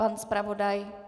Pan zpravodaj?